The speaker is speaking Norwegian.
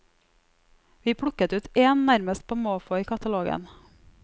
Vi plukket ut én nærmest på måfå i katalogen.